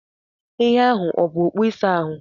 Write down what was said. Ihe ahụ ọ bụ okpu ịsa ahụ?